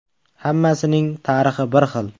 Hammasining tarixi bir xil.